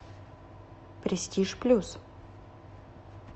престиж плюс